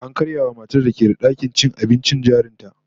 An karya wa matar da ke da dakin cin abincin jarin ta